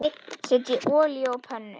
Setjið olíu á pönnu.